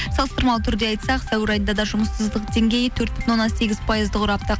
салыстырмалы түрде айтсақ сәуір айында да жұмыссыздық деңгейі төрт бүтін оннан сегіз пайызды құрапты